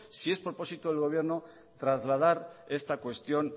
si es propósito del gobierno trasladar esta cuestión